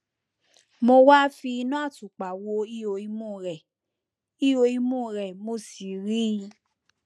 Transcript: mo wá fi iná àtùpà wo ihò imú rẹ ihò imú rẹ mo sì ríi